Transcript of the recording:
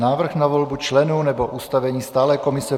Návrh na volbu členů nebo ustavení stálé komise